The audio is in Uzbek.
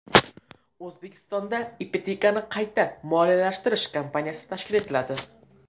O‘zbekistonda Ipotekani qayta moliyalashtirish kompaniyasi tashkil etiladi.